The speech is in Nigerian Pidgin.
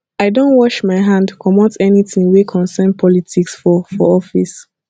i don wash my hand comot anytin wey concern politics for for office